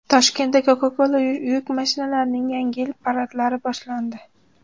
Toshkentda Coca-Cola yuk mashinalarining Yangi yil paradlari boshlandi.